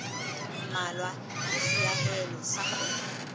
mmalwa ke seahelo sa kgwebo